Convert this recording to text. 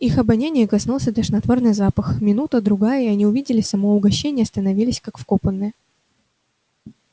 их обоняния коснулся тошнотворный запах минута другая и они увидели само угощение и остановились как вкопанные